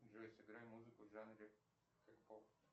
джой сыграй музыку в жанре кей поп